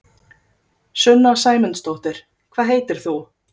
Sunna Sæmundsdóttir: Hvað heitir þú?